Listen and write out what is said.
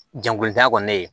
Jagolita kɔni